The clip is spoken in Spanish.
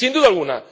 Sin duda alguna.